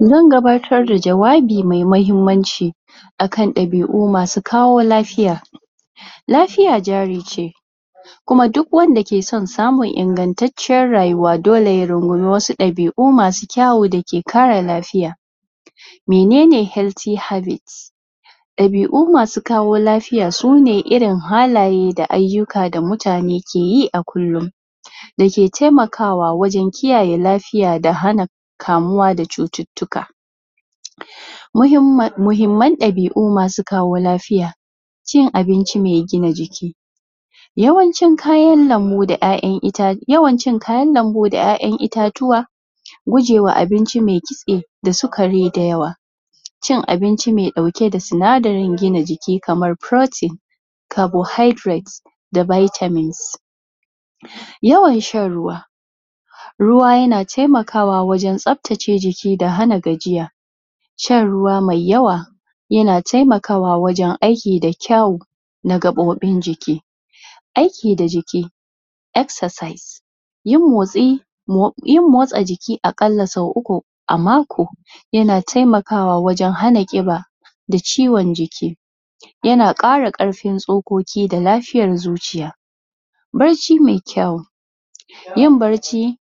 Zan gabatar da jawabi mai muhimmanci akan ɗabi'u masu kawo lafiya lafiya jari ce kuma duk wanda ke son samun ingantaccen rayuwa dole ya rungumi wasu ɗabi'u masu kyau dake ƙara lafiya mene ne helthy habbit ɗabi'u masu kawo lafiya su ne irin halaye da ayyuka da mutane ke yi a kulle dake taimakawa wajen kiyaye lafiya da hana kamuwa da cututtuka muhimman ɗabi'u masu kawo lafiya cin abinci mai gina jiki yawan cin kayan lambu da 'ya'ya itatuwa, kayan itatuwa yawan cin kayan lambu da 'ya'yan itatuwa gujewa abinci mai kitse da sukari da yawa cin abinci mai ɗauke da sunadarin gina jiki kamar protein (cabohydrate) da vitamin c yawan shan ruwa ruwa yana taimakawa wajen tsabtace jiki da hana gajiya shan ruwa mai yawa yana taimakawa wajen aiki da kyawu da gaɓoɓin jiki aiki da jiki exercise yin motsi, yin motsa jiki a ƙalla sau uku a mako yana taimakawa wajen hana ƙiba da ciwon jiki yana ƙara ƙarfin tsokoki da lafiyar zuciya bacci mai kyawu yin bacci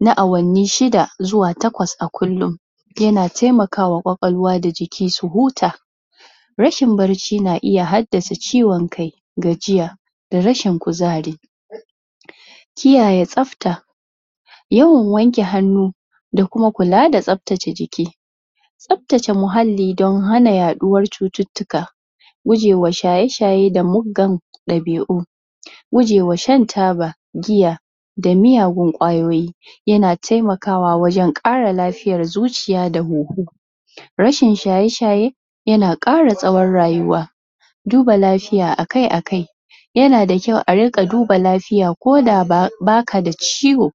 na awanni shida zuwa takwas a kullu yana taimakawa kwakwallawa da jiki su huta rashin bacci na iya haddasa ciwon kai da gajiya da rashin kuzari kiyaye tsabta yawan wanke hannu da kuma kula da tsabtace jiki tsabtace muhalli don hana yaɗuwar cututtuka gujewa shaye-shaye da muggan ɗabi'u gujewa shan taba giya da miyagun kwayoyi yana taimakawa wajen ƙara lafiyar zuciya da huhu rashin shaye-shaye yana ƙara tsawon rayuwa duba lafiya akai-akai yana da kyau a riƙa duba lafiya koda ba ka da ciwo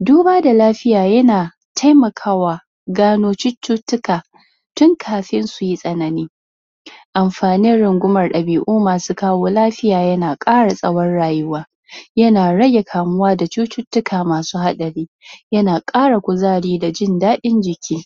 duba da lafiya yana taimakawa gano cututtuka tun kafin su yi tsanani amfanin rungumar ɗabi'u masu kawo lafiya yana ƙara tsawon rayuwa yana rage kamuwa da cututtuka masu haɗari yana ƙara kuzari da jin daɗin jiki